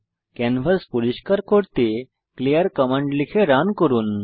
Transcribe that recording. canvas পরিস্কার করতে clear command লিখে রান করব